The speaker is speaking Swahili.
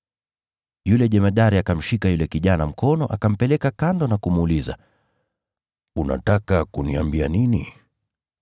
Yule jemadari akamshika yule kijana mkono, akampeleka kando na kumuuliza, “Unataka kuniambia nini?”